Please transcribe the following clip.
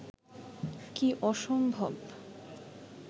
কী অসম্ভব